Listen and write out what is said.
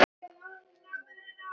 Kemur hann heim til ykkar?